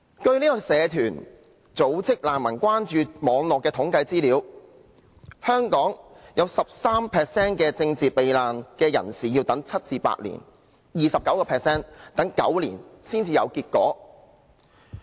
據社團組織"難民關注網絡"的統計資料，香港有 13% 的政治避難人士要等待7至8年 ，29% 要等待9年才有結果。